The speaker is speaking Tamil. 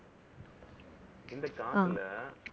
இந்த காலத்துல